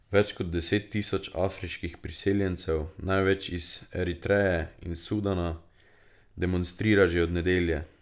Več kot deset tisoč afriških priseljencev, največ iz Eritreje in Sudana, demonstrira že od nedelje.